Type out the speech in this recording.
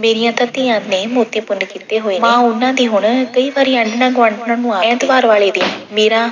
ਮੇਰੀਆਂ ਤਾਂ ਧੀਆਂ ਨੇ ਮੋਤੀ ਪੁੰਨ ਕੀਤੇ ਹੋਏ ਨੇ। ਮਾਂ ਉਹਨਾਂ ਦੀ ਹੁਣ ਕਈ ਵਾਰੀ ਆਂਢਣਾਂ-ਗੁਆਢਣਾਂ ਨੂੰ ਆਖਦੀ। ਐਤਵਾਰ ਵਾਲੇ ਦਿਨ ਮੀਰਾ